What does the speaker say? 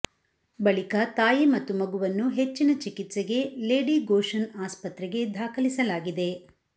ಬಳಿಕ ತಾಯಿ ಮತ್ತು ಮಗುವನ್ನು ಹೆಚ್ಚಿನ ಚಿಕಿತ್ಸೆಗೆ ಲೇಡಿಗೋಶನ್ ಆಸ್ಪತ್ರೆಗೆ ದಾಖಲಿಸಲಾಗಿದೆ